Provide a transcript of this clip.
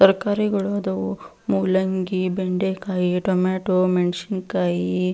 ತರಕಾರಿಗಳು ಆದವು ಮೂಲಂಗಿ ಬೆಂಡೆಕಾಯಿ ಟೊಮೇಟೊ ಮೆಣಸಿನಕಾಯಿ--